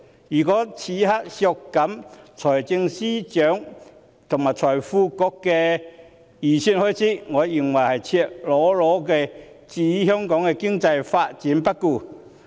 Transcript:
如果此刻削減財政司司長和財經事務及庫務局的預算開支，我認為是赤裸裸地置香港經濟發展於不顧。